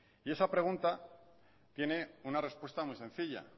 y esa pregunta tiene una respuesta muy sencilla